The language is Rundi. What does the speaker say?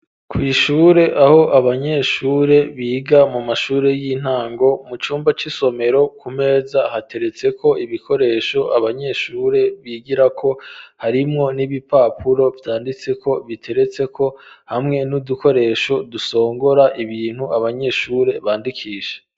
Kwishure aho abanyeshure biga mu mashuri y'intango mu cumba c'isomero ku meza hateretse ko ibikoresho abanyeshure bigira ko harimwo n'ibipapuro vyanditse ko biteretse ko hamwe n'udukoresho dusongora ibintu abanyeshure bandikishe.